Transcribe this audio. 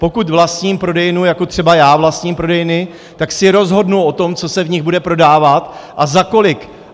Pokud vlastním prodejnu, jako třeba já vlastním prodejny, tak si rozhodnu o tom, co se v nich bude prodávat a za kolik.